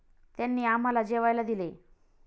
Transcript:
त्यांनी आम्हाला जेवायला दिले.